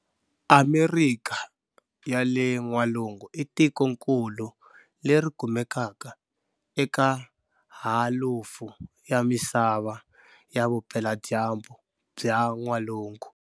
Amerikha ya le Nwalungu i tikonkulu leri kumekaka eka halufu ya misava ya vupela dyambu bya n'walungu.